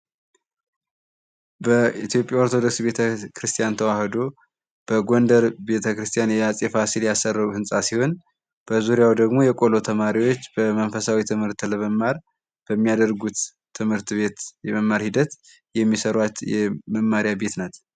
በኢትዮጵያ ኦርቶዶክስ ቤተክርስቲያን ተዋሕዶ በጎንደር ቤተክርስቲያን አጼ ፋሲል ያሰራው ህንጻ ሲሆን በዙሪያው ደግሞ የቆሎ ተማሪዎች መንፈሳዊ ትምህርት ለመማር በሚያደርጉት ትምህርት ቤት የመማር ሂደት የሚሰሯት መማሪያ ቤት ናት።